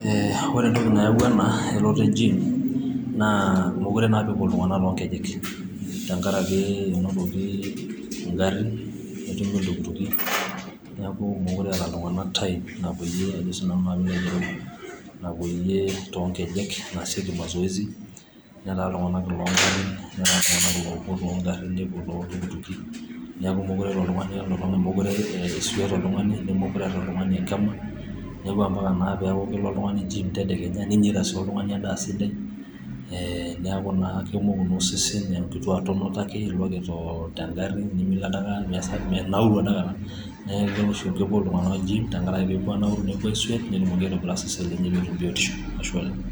Ee ore entoki nayawua ena elototo ejim naa meekure naa apa epuo iltung'anak too ng'ejek, tengaraki Kuna tokitin, egarrin, netumi iltukutuki, neaku meekure eeta iltung'anak time Napoli's ajo naa sinanu piilo ayiolou, napoyie too ng'ejek naasieki masoyesi netaa iltung'anak iloo garrin netaa sii iloopuo too garrin nepuo too iltukutuki neaku meekure elo oltung'ani netaa sii oltung'ani nemeekure eeata oltung'ani enkima neeku ampaka naa neaku kelo oltung'ani jiim tedekenya ninyaita sii oltung'ani edaa sidai ee neaku naa kemoku naa osesen enkitiaa tonotaka ake nitonito tegarri nimilo dikata niminauru dikata neaku ore oshi peepuo iltung'anak jiim tengaraki pee epuo aanauru nepuo aiswet peetumoki naa aitobira eseseni lenye, Ashe oleng'.